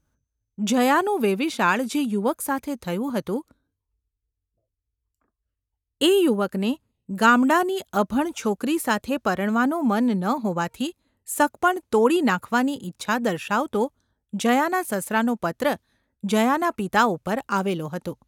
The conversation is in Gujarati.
જયાનું વેવિશાળ જે યુવક સાથે થયું હતું એ યુવકને ગામડાની અભણ છોકરી સાથે પરણવાનું મન ન હોવાથી સગપણ તોડી નાખવાની ઈચ્છા દર્શાવતો જયાના સસરાનો પત્ર જયાના પિતા ઉપર આવેલો હતો.